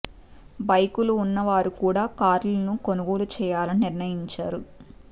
బైకులు ఉన్న వారు కూడా కార్లను కొనుగోలు చేయాలని నిర్ణయించారు